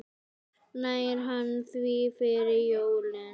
Nær hann því fyrir jólin?